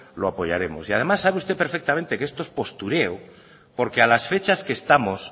lo apoyaremos y además sabe usted perfectamente que esto es postureo porque a las fechas que estamos